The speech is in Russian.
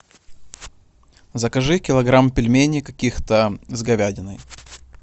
закажи килограмм пельменей каких то с говядиной